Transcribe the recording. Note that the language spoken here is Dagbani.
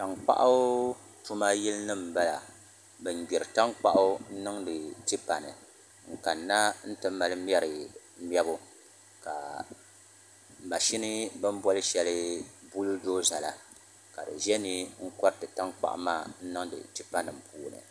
Tankpaɣu tuma yili nim n bala bin gbiri tankpaɣu n niŋdi tipa ni n kanna n ti mali mɛri mɛbu ka mashini bini boli shɛli bul doza la ka di ʒɛ ni n koriti tankpaɣu maa n niŋdi tipa nim puuni